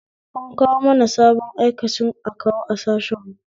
An kawo mana sabon aikacin akawu a sashen mu